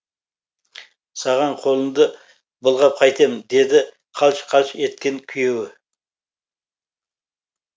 саған қолымды былғап қайтем деді қалш қалш еткен күйеуі